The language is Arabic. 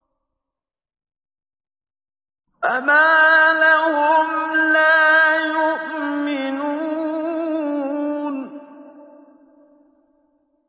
فَمَا لَهُمْ لَا يُؤْمِنُونَ